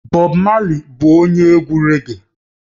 Bob marley bụ onye egwu raggae